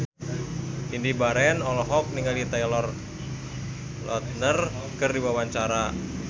Indy Barens olohok ningali Taylor Lautner keur diwawancara